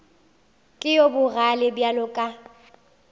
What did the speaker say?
ke yo bogale bjalo ka